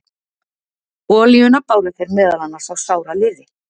Olíuna báru þeir meðal annars á sára liði.